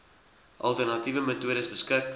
alternatiewe metodes beskik